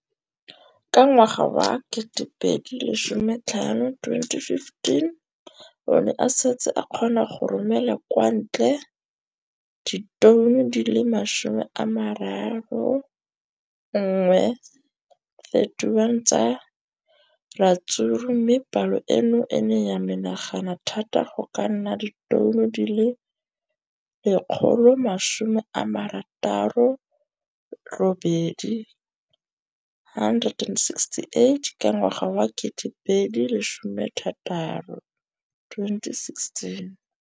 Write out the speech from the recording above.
Ka ngwaga wa 2015, o ne a setse a kgona go romela kwa ntle ditone di le 31 tsa ratsuru mme palo eno e ne ya menagana thata go ka nna ditone di le 168 ka ngwaga wa 2016.